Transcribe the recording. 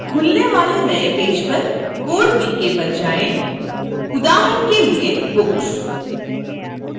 खुलने वाले नए पेज पर code bk पर जाएँ उदाहरण के लिए books